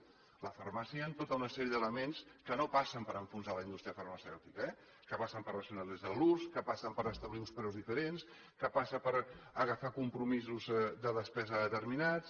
a la farmàcia hi han tota una sèrie d’elements que no passen per enfonsar la indústria farmacèutica que passen per racionalitzar ne l’ús que passen per establir uns preus diferents que passa per agafar compromisos de despesa determinats